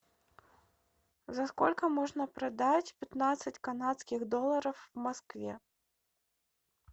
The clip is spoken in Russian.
за сколько можно продать пятнадцать канадских долларов в москве